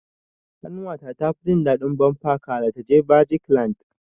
Ƙanwa ta tafi jin daɗin bumper car da ta je magic land.